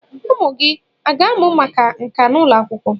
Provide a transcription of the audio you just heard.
Ụmụ gị a ga-amụ maka nka n'ụlọ akwụkwọ?